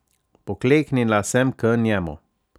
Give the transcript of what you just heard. Pokleknila sem k njemu.